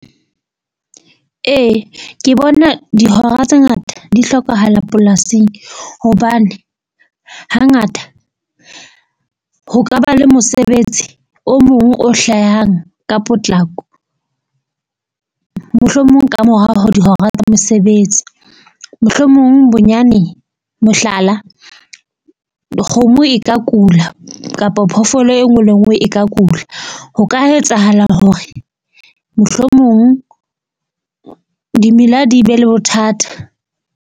Ee, ke bona dihora tse ngata di hlokahala polasing. Hobane hangata ho ka ba le mosebetsi o mong o hlahang ka potlako mohlomong ka morao ho dihora tsa mosebetsi. Mohlomong bonyane mohlala, kgomo e ka kula kapa phoofolo e nngwe le e nngwe e ka kula. Ho ka etsahala hore mohlomong dimela di be le bothata.